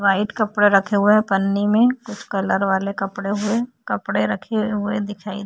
white कपड़ा रखे हुए है पन्नी में कुछ कलर वाले कपड़े हुए कपड़े रखे हुए दिखाई --